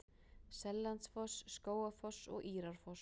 Seljalandsfoss, Skógafoss og Írárfoss.